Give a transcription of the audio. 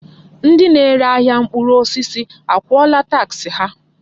Ndị na-ere ahịa mkpụrụ osisi akwụọla taksị ha?